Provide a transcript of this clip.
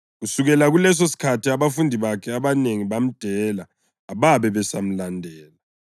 Kusukela kulesosikhathi abafundi bakhe abanengi bamdela ababe besamlandela.